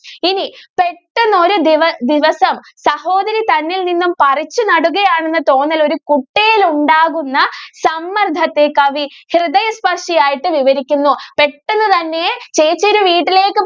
ഇനി പെട്ടെന്ന് ഒരു ദിവ~ദിവസം സഹോദരി തന്നിൽ നിന്നും പറിച്ചു നടുകയാണെന്ന് തോന്നൽ ഒരു കുട്ടിയിൽ ഉണ്ടാകുന്ന സമ്മർദ്ദത്തെ കവി ഹൃദയസ്പർഷി ആയിട്ട് വിവരിക്കുന്നു. പെട്ടെന്ന് തന്നെ ചേച്ചി ഒരു വീട്ടിലേക്ക്